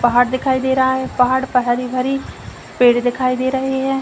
पहाड़ दिखाई दे रहा है। पहाड़ पर हरी भरी पेड़ दिखाई दे रही हैं।